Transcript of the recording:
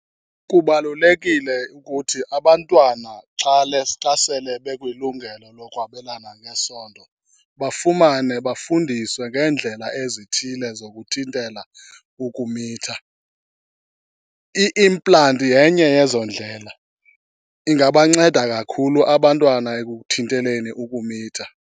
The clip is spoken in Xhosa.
Kubalulekile ukuthi abantwana xa xa sele bekwilungelo lokwabelana ngesondo bafumane bafundiswe ngeendlela ezithile zokuthintela ukumitha. I-implant yenye yezo ndlela, ingabanceda kakhulu abantwana ekuthinteleni ukumitha.